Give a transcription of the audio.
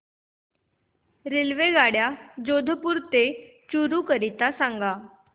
रेल्वेगाड्या जोधपुर ते चूरू करीता सांगा